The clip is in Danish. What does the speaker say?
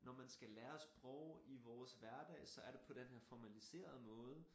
Når man skal lære sprog i vores hverdag så er det på her formaliserede måde